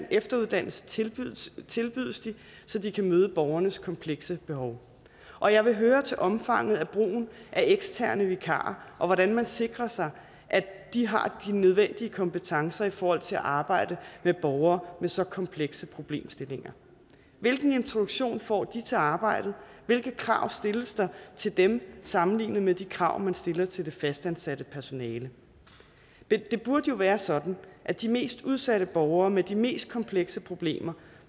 efteruddannelse tilbydes tilbydes de så de kan møde borgernes komplekse behov og jeg vil høre til omfanget af brugen af eksterne vikarer og hvordan man sikrer sig at de har de nødvendige kompetencer i forhold til at arbejde med borgere med så komplekse problemstillinger hvilken introduktion får de til arbejdet hvilke krav stilles der til dem sammenlignet med de krav man stiller til det fastansatte personale det burde jo være sådan at de mest udsatte borgere med de mest komplekse problemer